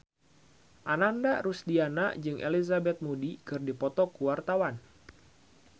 Ananda Rusdiana jeung Elizabeth Moody keur dipoto ku wartawan